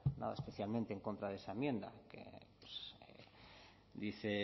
nada especialmente en contra de esa enmienda